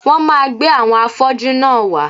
Wón máa gbé àwọn afọ́jú náà wá